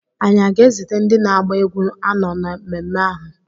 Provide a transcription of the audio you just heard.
anyị aga-ezite ndị na-agba egwu anọ na mmemme ahụ?